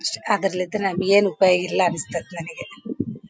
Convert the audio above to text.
ಅಷ್ಟೇ ಅದ್ರಲ್ಲಿದ್ರೆ ನಾವ್ ಏನ್ ಉಪಯೋಗಯಿಲ್ಲಾ ಅನ್ನಸ್ತತ ನನಗೆ .